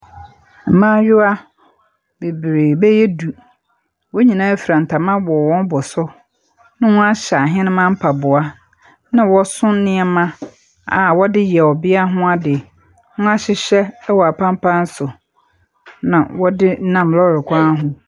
Mmayewa bebree bɛyɛ du. Wɔn nyinaa fura ntoma wɔ wɔn bo so, na wɔahyɛ ahenemma mpaboa, na wɔso nneɛma a wɔde yɛ ɔbea ho ade. Wɔahyehyɛ wɔ apampan so, na wɔde nam lɔre kwan ho.